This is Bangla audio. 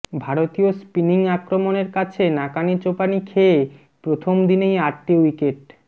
ভারতীয় স্পিনিং আক্রমণের কাছে নাকানিচোবানি খেয়ে প্রথম দিনেই আটটি উইকেট